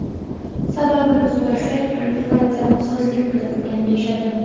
Sababini so‘rasak, liniyada nosozlik kuzatilgan, deyishadi.